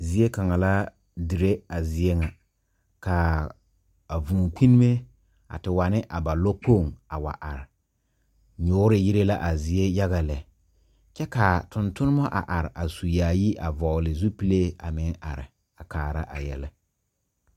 Zie kaŋa la diri a zie ŋa ka a vūū kpinime a te wane a ba lokpoŋ a wa are nyuuri yiri la a zie yaga lɛ kyɛ ka tontoneba are su yaayi a vɔgle zupilee a meŋ are a kaara a yɛlɛ.